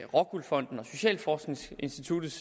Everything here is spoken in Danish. rockwool fondens og socialforskningsinstituttets